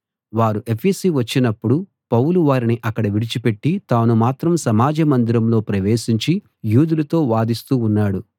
వారు ఎఫెసు వచ్చినప్పుడు పౌలు వారిని అక్కడ విడిచి పెట్టి తాను మాత్రం సమాజ మందిరంలో ప్రవేశించి యూదులతో వాదిస్తూ ఉన్నాడు